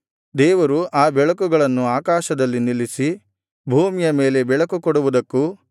ದೇವರು ಆ ಬೆಳಕುಗಳನ್ನು ಆಕಾಶದಲ್ಲಿ ನಿಲ್ಲಿಸಿ ಭೂಮಿಯ ಮೇಲೆ ಬೆಳಕು ಕೊಡುವುದಕ್ಕೂ